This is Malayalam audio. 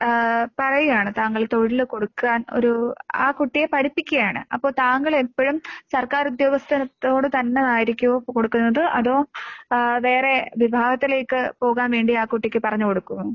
ഏഹ് പറയ്കാണ് താങ്കൾ തൊഴില് കൊടുക്കാൻ ഒരൂ ആ കുട്ടിയെ പഠിപ്പിക്കാണ്. അപ്പോൾ താങ്കളെപ്പഴും സർക്കാരുദ്യോഗസ്ഥനത്തോട് തന്നെ ആയിരിക്കുവോ കൊടുക്കുന്നത് അതോ ഏഹ് വേറെ വിഭാഗത്തിലേക്ക് പോകാൻ വേണ്ടി ആ കുട്ടിക്ക് പറഞ്ഞ് കൊടുക്കുവോ?